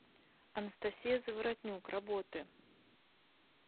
анастасия заворотнюк работы